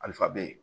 Ali fa bɛ yen